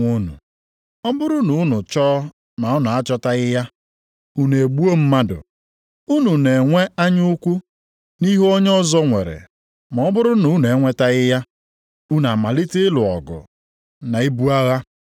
Ọ bụrụ na unu chọọ ma unu achọtaghị ya, unu egbuo mmadụ. Unu na-enwe anya ukwu nʼihe onye ọzọ nwere ma ọ bụrụ na unu enwetaghị ya, unu amalite ịlụ ọgụ na ibu agha. Unu enweghị maka unu chọrọ arịọghị ya nʼekpere.